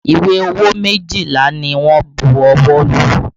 Ìwé owó méjìlá ni wọ́n bu ọwọ́ lù